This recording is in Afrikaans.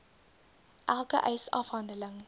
elke eis afhandeling